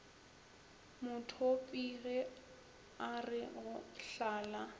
modupi ge are go hlala